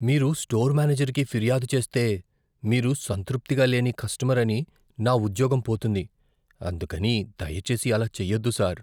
మీరు స్టోర్ మేనేజర్కి ఫిర్యాదు చేస్తే, మీరు సంతృప్తిగా లేని కస్టమర్ అని నా ఉద్యోగం పోతుంది, అందుకని దయచేసి అలా చేయొద్దు సార్.